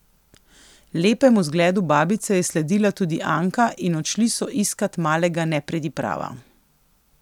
Lepemu zgledu babice je sledila tudi Anka in odšli so iskat malega nepridiprava.